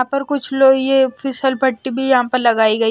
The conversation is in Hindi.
यहां पर कुछ लो ये पट्टी भी यहां पर लगाई गई।